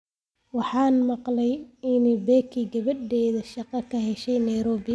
Waxaan maqlay in Becky gabadedha ay shaqo ka heshay Nairobi